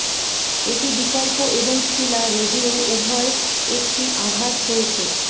এটি বিকল্প এবং শিলা রেডিও উভয় একটি আঘাত হয়েছে